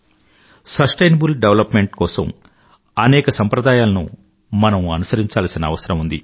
sustainable development కోసం అనేక సంప్రదాయాలను మనం అనుసరించాల్సిన అవసరం ఉంది